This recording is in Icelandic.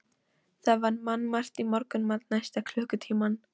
Það var mannmargt í morgunmatnum næsta klukkutímann.